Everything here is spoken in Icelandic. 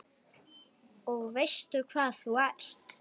Og veistu hvað þú ert?